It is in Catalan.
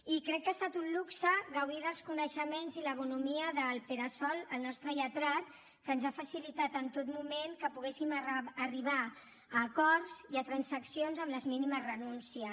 i crec que ha estat un luxe gaudir dels coneixements i la bonhomia del pere sol el nostre lletrat que ens ha facilitat en tot moment que poguéssim arribar a acords i a transaccions amb les mínimes renúncies